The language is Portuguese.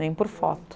Nem por foto.